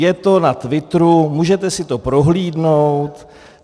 Je to na Twitteru, můžete si to prohlédnout.